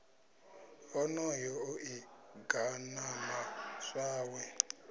onoyo o ḓi ganama zwawe